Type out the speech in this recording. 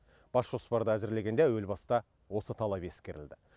бас жоспарды әзірлегенде әуел баста осы талап ескерілді